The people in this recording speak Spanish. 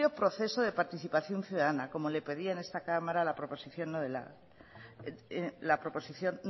amplio proceso de participación ciudadana como le pedían en esta cámara la proposición no